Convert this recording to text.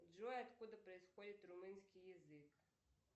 джой откуда происходит румынский язык